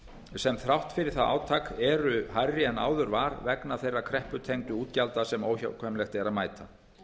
sem þrátt fyrir það átak eru hærri en áður var vegna þeirra krepputengdu útgjalda sem óhjákvæmilegt er að mæta